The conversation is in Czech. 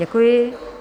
Děkuji.